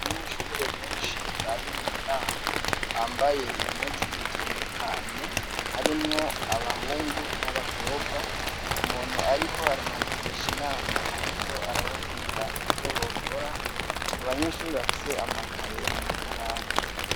Abanyeshure beshi bari munama bambaye impuzu zitandukanye harimwo abahungu n'abakobwa umuntu ariko arabagirisha inama ariko arababwira ivyobokora; n'abanyeshure bafise amakaye n'amakaramu.